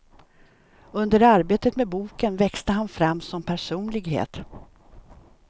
Under arbetet med boken växte han fram som personlighet.